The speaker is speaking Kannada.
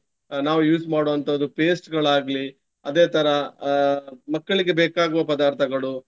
ಅಹ್ ನಾವು use ಮಾಡುವಂತಹದ್ದು paste ಗಳಾಗ್ಲಿ. ಅದೇ ತರ ಅಹ್ ಮಕ್ಕಳಿಗೆ ಬೇಕಾಗುವ ಪದಾರ್ಥಗಳು.